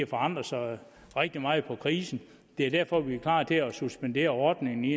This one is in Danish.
forandret sig rigtig meget med krisen og det er derfor vi er klar til at suspendere ordningen i